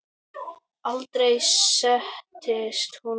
Aldrei settist hún niður.